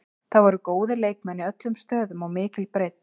Það voru góðir leikmenn í öllum stöðum, mikil breidd.